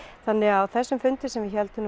þannig að á þessu fundi sem við héldum